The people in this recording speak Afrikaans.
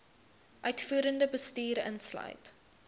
uitvoerende bestuur insluit